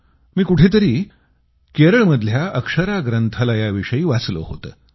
मी कुठंतरी केरळमधल्या अक्षरा ग्रंथालयाविषयी वाचलं होतं